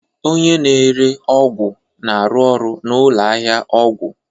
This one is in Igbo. Oynye na-ere ọgwụ na-arụ ọrụ na ụlọ ahịa ọgwụ